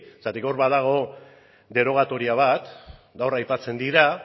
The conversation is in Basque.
zergatik hor badago derogatoria bat gaur aipatzen dira